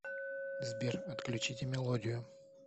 сбер отключите мелодию